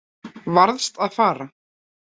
Varðst að fara.